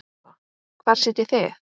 Eva: Hvar sitjið þið?